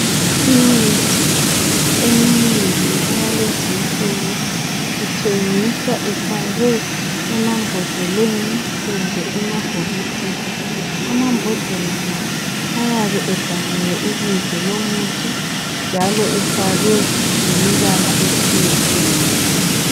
Imithi eminengi eyalezi insuku ithengiswa ifakwe emambodleleni kumbe emabhokisini. Amambodlela la ayabe ebhaliwe ibizo lomuthi njalo efakwe lemibala etshiyeneyo